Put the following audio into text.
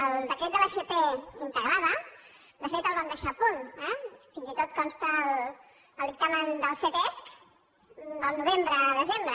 el decret de l’fp integrada de fet el vam deixar a punt eh fins i tot consta al dictamen del ctesc al novembre desembre